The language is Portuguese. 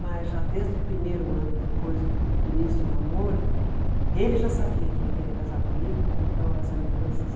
Mas já desde o primeiro ano, depois do do início do namoro, ele já sabia que ia querer casar comigo e comprou as alianças.